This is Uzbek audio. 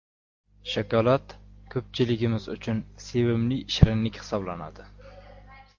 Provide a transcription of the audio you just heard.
Shokolad ko‘pchiligimiz uchun sevimli shirinlik hisoblanadi.